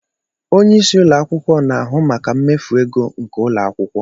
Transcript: Onyeisi ụlọ akwụkwọ na-ahụ maka mmefu ego nke ụlọ akwụkwọ.